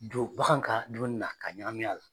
Don bagan ka dumuni na ka ɲagami a la.